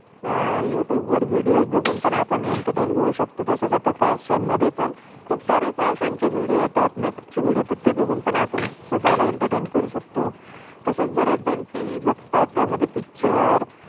अह YouTube youtube वर videos videos बघून पण आपण एंटरटे entertain होऊ शकतो. तसच आता फैशन fashion मधे पण, खुप सरे फैशन fashion चे विडियो video येतात. नैक चे विडियो video येतात. ते बघून पण आपण, स्वताला एंटरटेन enteratain करू शकतो. तसेच बारे जन टीवी tvtelevision बघतात, त्यामध्ये पिक्चर picture